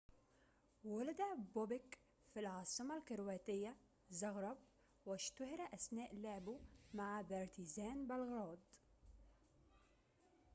ولد بوبيك في العاصمة الكرواتية زغرب واشتُهِر أثناء لعبه مع بارتيزان بلغراد